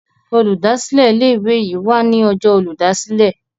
Olùdásílẹ̀ ilé ìwé yí wá ní Ọjọ́ Olùdásílẹ̀.